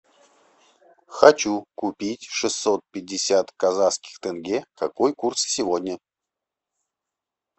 хочу купить шестьсот пятьдесят казахских тенге какой курс сегодня